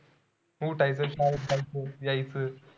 ऊठायच शाळेत जायचं यायच.